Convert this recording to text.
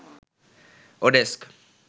oDesk